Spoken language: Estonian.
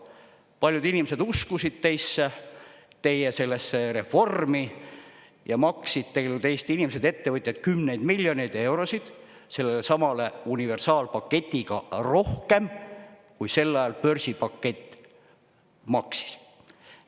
Paljud inimesed uskusid teisse, teie sellesse reformi ja maksid tegelikult Eesti inimesed, ettevõtjad kümneid miljoneid eurosid sellelesamale universaalpaketiga rohkem, kui sel ajal börsipakett maksis.